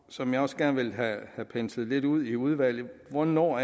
som jeg også gerne vil have penslet lidt ud i udvalget om hvornår